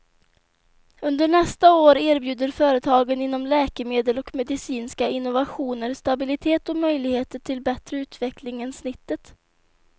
Under nästa år erbjuder företagen inom läkemedel och medicinska innovationer stabilitet och möjligheter till bättre utveckling än snittet.